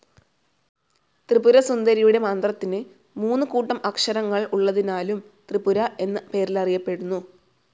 ത്രിപുര സുന്ദരിയുടെ മന്ത്രത്തിന് മൂന്ന് കൂട്ടം അക്ഷരങ്ങൾ ഉള്ളതിനാലും ത്രിപുര എന്ന പേരിലറിയപ്പെടുന്നു.